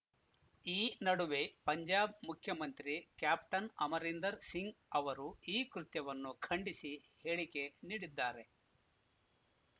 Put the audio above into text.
ಈ ನಡುವೆ ಪಂಜಾಬ್‌ ಮುಖ್ಯಮಂತ್ರಿ ಕ್ಯಾಪ್ಟನ್ ಅಮರೀಂದರ್‌ ಸಿಂಗ್‌ ಅವರು ಈ ಕೃತ್ಯವನ್ನು ಖಂಡಿಸಿ ಹೇಳಿಕೆ ನೀಡಿದ್ದಾರೆ